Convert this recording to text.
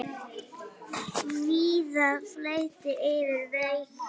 Víða flæddi yfir vegi.